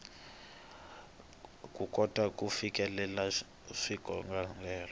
ku kota ku fikelela swikongomelo